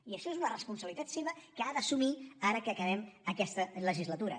i això és una responsabilitat seva que ha d’assumir ara que acabem aquesta legislatura